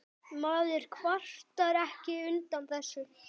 Maður kvartar ekki undan þessu.